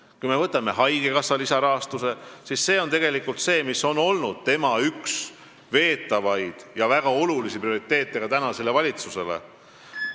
Kui me võtame haigekassa lisarahastuse, siis see on tegelikult olnud üks tema veetavaid teemasid ja on prioriteet ka valitsuse jaoks.